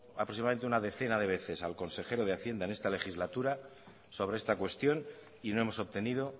aproximadamente una decena de veces al consejero de hacienda en esta legislatura sobre esta cuestión y no hemos obtenido